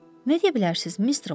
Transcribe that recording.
Nə deyə bilərsiz, Mister Homs?